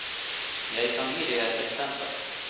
Jeg kan gi deg et eksempel.